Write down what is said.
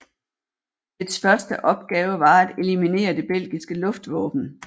Dets første opgave var at eliminere det belgiske luftvåben